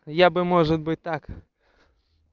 я бы может быть так